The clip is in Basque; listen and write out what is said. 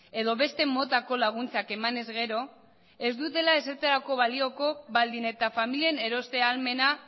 edo beste motako laguntzak eman ezkero ez dutela ezertarako balioko baldin eta familien eroste ahalmena